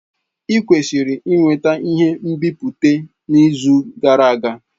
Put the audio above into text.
I kwesiri iweta ihe nbipute n'izu gara aga!